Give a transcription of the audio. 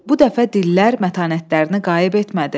Bu dəfə dillər mətanətlərini qayıb etmədi.